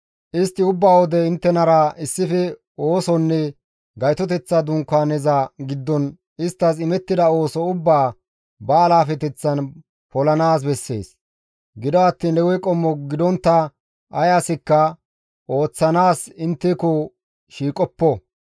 Istti ubba wode inttenara issife oosonne Gaytoteththa Dunkaaneza giddon isttas imettida ooso ubbaa ba alaafeteththan polanaas bessees; gido attiin Lewe qommo gidontta ay asikka ooththanaas intteko shiiqoppo.